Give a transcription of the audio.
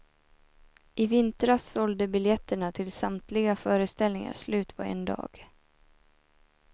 I vintras sålde biljetterna till samtliga föreställningar slut på en dag.